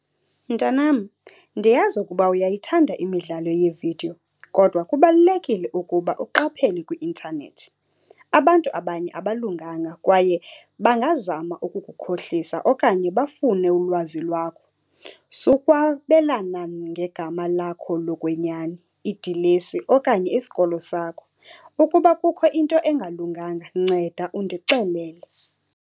Mntanam, ndiyazi ukuba uyayithanda imidlalo yeevidiyo kodwa kubalulekile ukuba uqaphele kwi-intanethi. Abantu abanye abalunganga kwaye bangazama ukukukhohlisa okanye bafune ulwazi lwakho. Sukwabelana ngegama lakho lokwenyani, idilesi okanye isikolo sakho. Ukuba kukho into engalunganga, nceda undixelele.